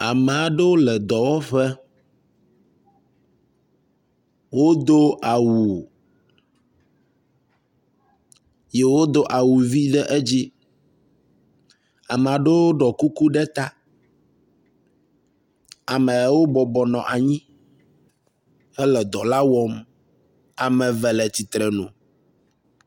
Ame aɖewo le dɔwɔƒe wodo awu, wodo awu vi ɖe edzi ye amewo do kuku ɖe ta amewo bɔbɔ nɔ anyi hele dɔ la wɔm ame eve le tsitrenu